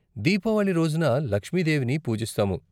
దీపావళి రోజున లక్ష్మి దేవిని పూజిస్తాము.